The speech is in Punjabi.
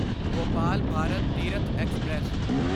ਭੋਪਾਲ ਭਾਰਤ ਤੀਰਥ ਐਕਸਪ੍ਰੈਸ